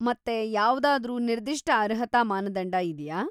ಮತ್ತೆ ಯಾವ್ದಾದ್ರೂ ನಿ‌ರ್ದಿಷ್ಟ ಅರ್ಹತಾ ಮಾನದಂಡ ಇದ್ಯಾ?